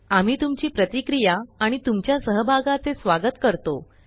आम्ही तुमची प्रतिक्रिया आणि तुमच्या सहभागाचे स्वागत करतो